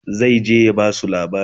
zai je ya Basu labari